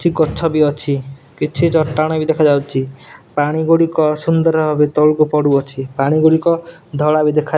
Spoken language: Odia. କିଛି ଗଛ ବି ଅଛି କିଛି ଚଟାଣ ବି ଦେଖାଯାଉଛି ପାଣି ଗୁଡ଼ିକ ସୁନ୍ଦର ଭାବେ ତଳକୁ ପଡ଼ୁଅଛି ପାଣି ଗୁଡ଼ିକ ଧଳା ବି ଦେଖା।